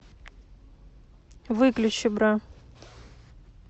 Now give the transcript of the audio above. выключи бра